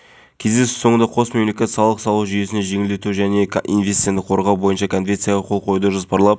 естеріңізге салайық ұлттық қауіпсіздік комитеті тамыз аралығында батыс қазақстан және ақтөбе облыстарында үш радикалды топ ұсталғанын